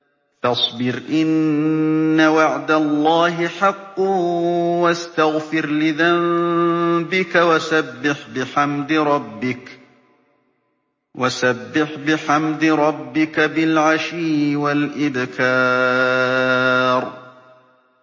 فَاصْبِرْ إِنَّ وَعْدَ اللَّهِ حَقٌّ وَاسْتَغْفِرْ لِذَنبِكَ وَسَبِّحْ بِحَمْدِ رَبِّكَ بِالْعَشِيِّ وَالْإِبْكَارِ